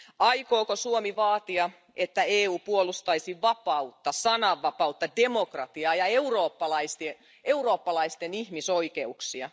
Aikooko Suomi vaatia, että EU puolustaisi vapautta, sananvapautta, demokratiaa ja eurooppalaisten ihmisoikeuksia?